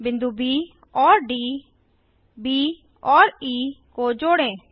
बिंदु ब और D B और ई को जोड़ें